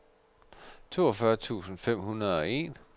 toogfyrre tusind fem hundrede og en